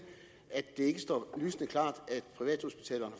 at det ikke står lysende klart